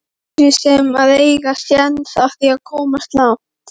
Fleiri sem að eiga séns á því að komast langt?